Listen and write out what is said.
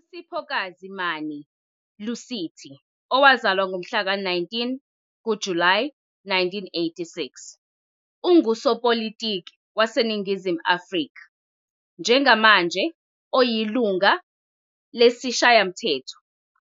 USiphokazi Mani-Lusithi, owazalwa ngomhlaka 19 kuJulayi 1986, ungusopolitiki waseNingizimu Afrika, njengamanje oyilungu lesiShayamthetho